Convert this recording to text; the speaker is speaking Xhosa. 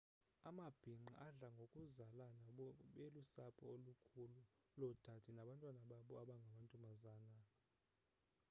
amabhinqa adla ngokuzalana belusapho olukhulu loodade nabantwana babo abangamantombazana